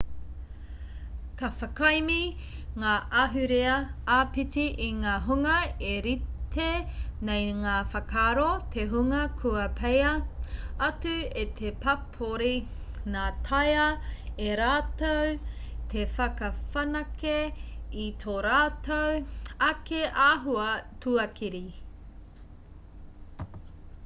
ka whakaemi ngā ahurea āpiti i ngā hunga e rite nei ngā whakaaro te hunga kua peia atu e te pāpori nā taea e rātou te whakawhanake i tō rātou ake āhua tuakiri